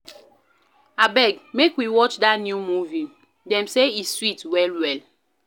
Abeg, make we watch dat new movie, dem say e sweet well-well